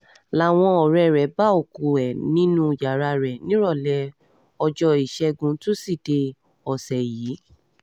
làwọn ọ̀rẹ́ rẹ̀ bá òkú ẹ̀ nínú um yàrá rẹ̀ nírọ̀lẹ́ ọjọ́ ìṣẹ́guntúṣídéé um ọ̀sẹ̀ yìí